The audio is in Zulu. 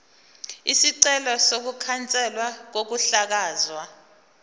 isicelo sokukhanselwa kokuhlakazwa